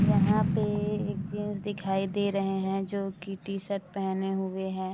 यहाँ पे एक जेंट्स दिखाई दे रहे है जो की टी-शर्ट पेहेने हुए है।